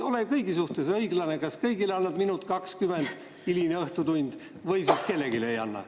Ole kõigi suhtes õiglane – kas annad kõigile minuti ja 20 sekundit, hiline õhtutund, või siis kellelegi ei anna.